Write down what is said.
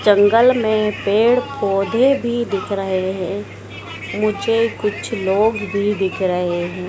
जंगल में पेड़ पौधे भी दिख रहे हैं मुझे कुछ लोग भी दिख रहे हैं।